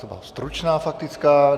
To byla stručná faktická.